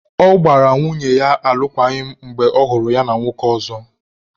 Ọ gbara nwunye ya alụkwaghịm mgbe ọhụrụ ya na nwoke ọzọ.